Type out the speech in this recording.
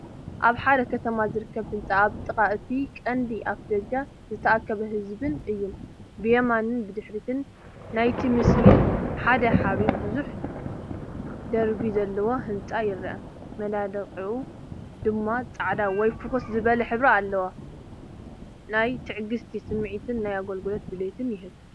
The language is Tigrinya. ኣብ ሓደ ከተማ ዝርከብ ህንጻን ኣብ ጥቓ እቲ ቀንዲ ኣፍደገ ዝተኣከበ ህዝቢን እዩ። ብየማንን ድሕሪትን ናይቲ ምስሊ፡ሓደ ዓቢ ብዙሕ ደርቢ ዘለዎ ህንጻ ይርአ፡መናድቑ ድማ ጻዕዳ ወይ ፍኹስ ዝበለ ሕብሪ ኣለዎ። ናይ ትዕግስቲ ስምዒትን ናይ ኣገልግሎት ድሌትን ይህብ።